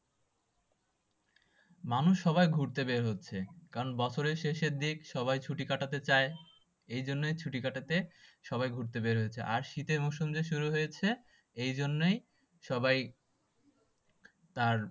মানুষ সবাই ঘুরতে বের হচ্ছে কারন বছরের শেষের দিক সবাই ছুটি কাটাতে চায়। এই জন্যই ছুটি কাটাতে সবাই ঘুরতে বের হচ্ছে আর শীতের মরশুম যে শুরু হয়েছে এই জন্যই সবাই তার